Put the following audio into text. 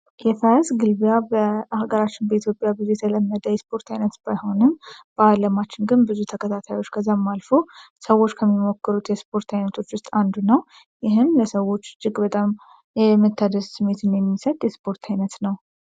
የፈረስ ግልቢያ በአገራችን በኢትዮጵያ ብዙ የተለመደ የስፖርት አይነት ባይሆንም፤ በዓለማችን ግን ብዙ ተከታታዮች ከዛም አልፎ ሰዎች ከሚሞክሩት የስፖርት ዓይነቶች ውስጥ አንዱ ነው። ይህም ለሰዎች እጅግ በጣም የምታደስ ስሜትን የሚሰጥ ስፖርት ዓይነት ነው።